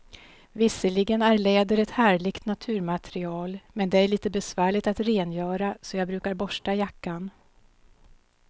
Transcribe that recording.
Visserligen är läder ett härligt naturmaterial, men det är lite besvärligt att rengöra, så jag brukar borsta jackan.